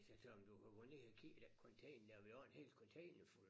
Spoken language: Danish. Sagde til ham du kan gå ned og kigge i den container vi har en hel containerfuld